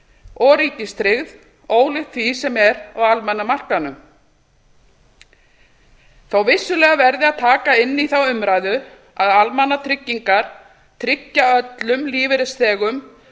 og ríkistryggð ólíkt því sem er á almenna markaðnum þótt vissulega verði að taka inn í þá umræðu að almannatryggingar tryggja öllum lífeyrisþegum